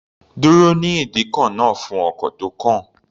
Dúró ní ìdíkọ̀ náà fún ọkọ̀ tó kàn.